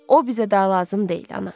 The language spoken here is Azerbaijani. O bizə daha lazım deyil, ana.